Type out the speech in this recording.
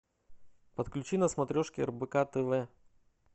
подключи на смотрешке рбк тв